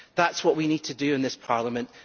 That is what we need to do in this Parliament.